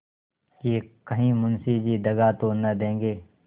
कि कहीं मुंशी जी दगा तो न देंगे